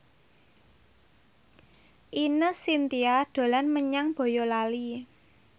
Ine Shintya dolan menyang Boyolali